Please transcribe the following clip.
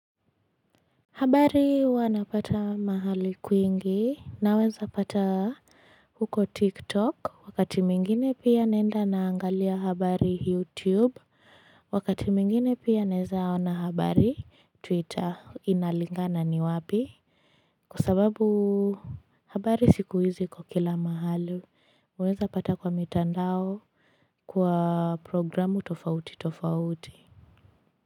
Habari huwa napata mahali kwingi naweza pata huko tiktok wakati mwingine pia naenda naangalia habari youtube wakati mwingine pia naezaona habari twitter inalingana ni wapi Kwa sababu habari siku hizi iko kila mahali, waeza pata kwa mitandao kwa programu tofauti tofauti.